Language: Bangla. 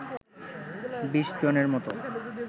বিশ জনের মত